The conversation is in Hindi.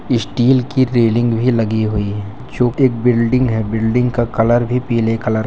स्टील की रेलिंग भी लगी हुई है जो एक बिल्डिंग है बिल्डिंग का कलर भी पीले कलर --